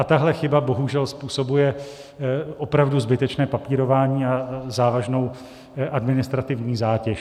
A tahle chyba bohužel způsobuje opravdu zbytečné papírování a závažnou administrativní zátěž.